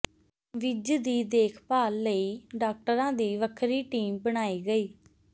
ਵਿਜ ਦੀ ਦੇਖਭਾਲ ਲਈ ਡਾਕਟਰਾਂ ਦੀ ਵੱਖਰੀ ਟੀਮ ਬਣਾਈ ਗਈ